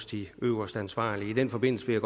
de øverste ansvarlige i den forbindelse vil